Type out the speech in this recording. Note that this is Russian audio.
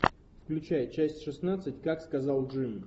включай часть шестнадцать как сказал джим